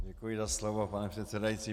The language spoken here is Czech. Děkuji za slovo, pane předsedající.